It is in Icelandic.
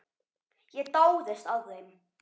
Ég dáðist að þeim.